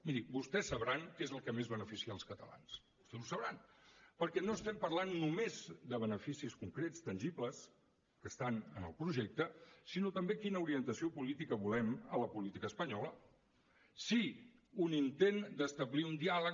miri vostès sabran què és el que més beneficia els catalans vostès ho sabran perquè no estem parlant només de beneficis concrets tangibles que estan en el projecte sinó també quina orientació política volem a la política espanyola si un intent d’establir un diàleg